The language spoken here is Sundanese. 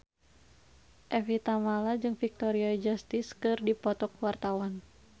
Evie Tamala jeung Victoria Justice keur dipoto ku wartawan